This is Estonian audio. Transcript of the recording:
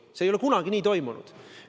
See ei ole kunagi nii toimunud!